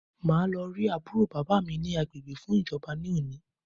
Màá lọ rí àbúrò bàbá mi ni agbègbè fún ìjọba ní òní